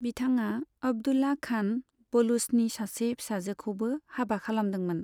बिथाङा अब्दुल्ला खान बलुचनि सासे फिसाजोखौबो हाबा खालामदोंमोन।